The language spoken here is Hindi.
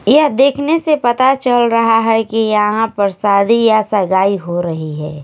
यह देखने से पता चल रहा है कि यहां पर सादी या सगाई हो रही है।